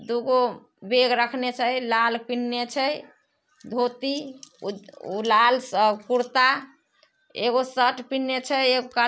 दूगो बैग रखने सै। लाल पिहिंने छई धोती। ऊ-उ लाल श कुरता एगो शर्ट पिहिंने छे एगो--